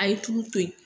A ye tulu to yen